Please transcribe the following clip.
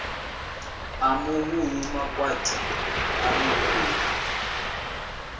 a muvhuyu makwati a muvhuyu